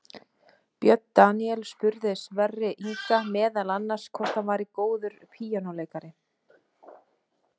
Björn Daníel spurði Sverri Inga meðal annars hvort hann væri góður píanóleikari.